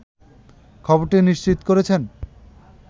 খবরটি নিশ্চিত করেছেন